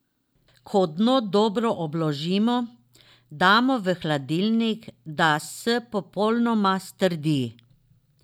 Ko dno dobro obložimo, damo v hladilnik, da s popolnoma strdi.